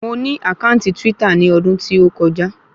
Mo ní àkáǹtì twítà ní odún tí ó kọjá